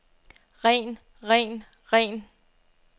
ren ren ren